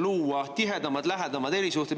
luua tihedamad, lähedamad erisuhted.